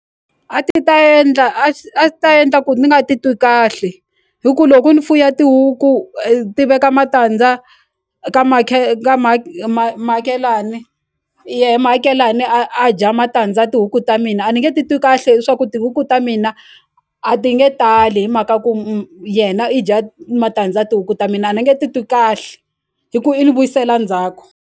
A ti ta endla a ti ta endla ku ni nga ti twi kahle hi ku loku ni fuya tihuku ti veka matandza ka ka muakelani yehe muakelani a a dya matandza tihuku ta mina a ni nge titwi kahle hi swa ku tihuku ta mina a ti nge tali hi mhaka ku yena i dya matandza ya tihuku ta mina a ni nge titwi kahle hi ku i ni vuyisela ndzhaku.